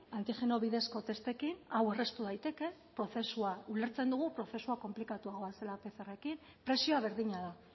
antigeno bidezko testekin aurreztu daitezke ulertzen dugu prozesua konplikatuagoa zela pcrrekin presioa berdina da